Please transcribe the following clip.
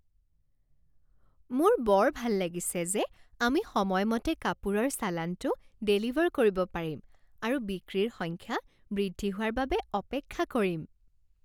মোৰ বৰ ভাল লাগিছে যে আমি সময়মতে কাপোৰৰ চালানটো ডেলিভাৰ কৰিব পাৰিম আৰু বিক্ৰীৰ সংখ্যা বৃদ্ধি হোৱাৰ বাবে অপেক্ষা কৰিম।